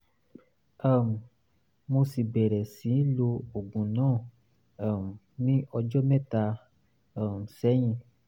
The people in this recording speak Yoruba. um mo sì bẹ̀rẹ̀ sí lo oògùn náà um ní ọjọ́ mẹ́ta um sẹ́yìn